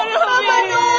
Aman Allahım, nə oldu?